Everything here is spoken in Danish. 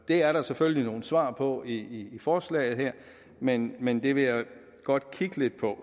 er der selvfølgelig nogle svar på i forslaget her men men det vil jeg godt kigge lidt på